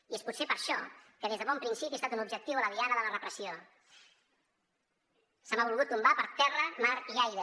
i és potser per això que des de bon principi he estat un objectiu a la diana de la repressió se m’ha volgut tombar per terra mar i aire